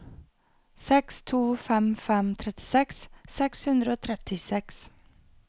seks to fem fem trettiseks seks hundre og trettiseks